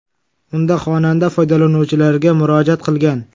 Unda xonanda foydalanuvchilarga murojaat qilgan.